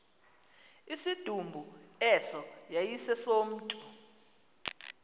isidumbu eso yayisesomntu